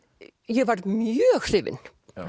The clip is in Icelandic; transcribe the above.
ég varð mjög hrifin